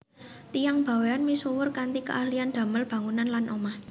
Tiyang Bawean misuwur kanthi keahlian damel bangunan lan omah